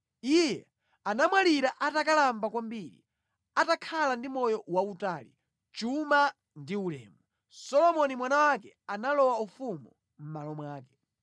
Iye anamwalira atakalamba kwambiri, atakhala ndi moyo wautali, chuma ndi ulemu. Solomoni mwana wake analowa ufumu mʼmalo mwake.